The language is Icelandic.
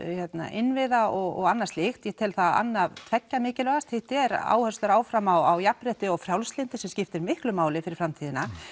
innviða og annað slíkt ég tel það annað tveggja mikilvægast hitt er áherslur áfram á jafnrétti og frjálslyndi sem skiptir miklu máli fyrir framtíðina